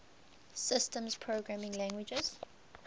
systems programming languages